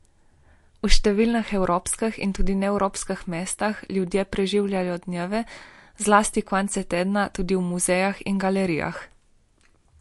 V številnih evropskih in tudi neevropskih mestih ljudje preživljajo dneve, zlasti konce tedna tudi v muzejih in galerijah.